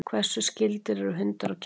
Hversu skyldir eru hundar og kettir?